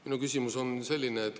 Minu küsimus on selline.